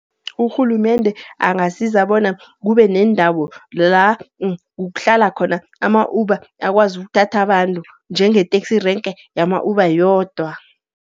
Urhulumende angasiza bona, kube nendawo la kuhlala khona ama-Uber. Akwazi ukuthatha abantu, njengeteksi renke yama-Uber yodwa.